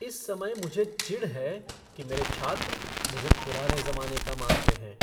इस समय मुझे चिढ़ है कि मेरे छात्र मुझे पुराने ज़माने का मानते हैं।